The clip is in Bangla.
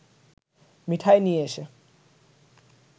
মিঠাই নিয়ে এসে